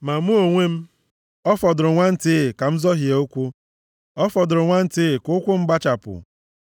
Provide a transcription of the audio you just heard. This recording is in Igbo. Ma mụ onwe m, ọ fọdụrụ nwantịị ka m zọhie ụkwụ, ọ fọdụrụ nwantịị ka ụkwụ m gbụchapụ.